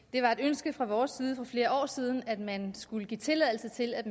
det var et ønske fra vores side for flere år siden at man skulle give tilladelse til at